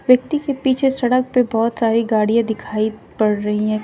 व्यक्ति के पीछे सड़क पे बहुत सारी गाड़ियां दिखाई पड़ रही हैं।